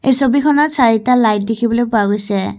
এই ছবিখনত চাৰিটা লাইট দেখিবলৈ পোৱা গৈছে।